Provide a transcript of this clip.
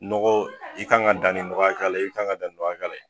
Nɔgɔ i kan ka dan ni nɔgɔ hakɛya la, i kan ka dan ni nɔgɔ hakɛya la